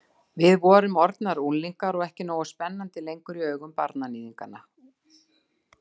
Við vorum orðnar unglingar og ekki nógu spennandi lengur í augum barnaníðinganna.